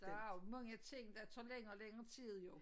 Der er jo mange ting der tager længere og længere tid jo